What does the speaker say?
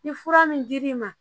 Ni fura min dir'i ma